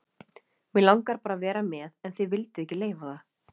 mig langaði bara að vera með en þið vilduð ekki leyfa það